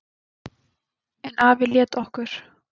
En afi lét okkur